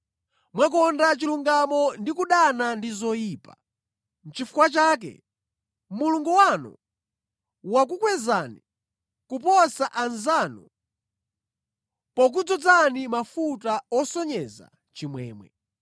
Mwakonda chilungamo ndi kudana ndi zoyipa; Nʼchifukwa chake, Mulungu wanu wakukwezani kuposa anzanu pokudzozani mafuta osonyeza chimwemwe.”